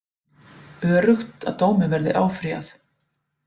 Öruggt að dómi verði áfrýjað